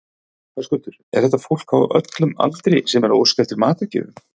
Höskuldur, er þetta fólk á öllum aldri sem er að óska eftir matargjöfum?